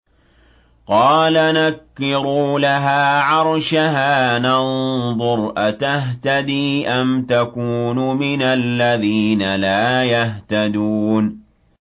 قَالَ نَكِّرُوا لَهَا عَرْشَهَا نَنظُرْ أَتَهْتَدِي أَمْ تَكُونُ مِنَ الَّذِينَ لَا يَهْتَدُونَ